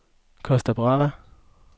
Costa Brava